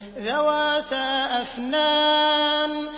ذَوَاتَا أَفْنَانٍ